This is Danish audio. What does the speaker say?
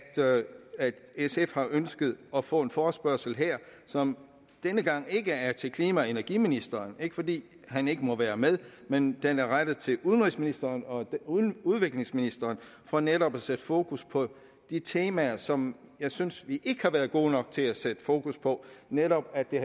sf har ønsket at få en forespørgsel her som denne gang ikke er til klima og energiministeren det ikke fordi han ikke må være med men den er rettet til udenrigsministeren og udviklingsministeren for netop at sætte fokus på de temaer som jeg synes at vi ikke har været gode nok til at sætte fokus på netop at det